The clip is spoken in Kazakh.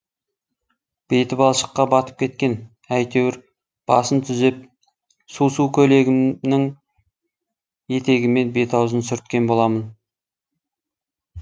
беті балшыққа батып кеткен әйтеуір басын түзеп су су көйлегімнің етегімен бет аузын сүрткен боламын